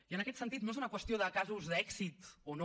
i en aquest sentit no és una qüestió de casos d’èxit o no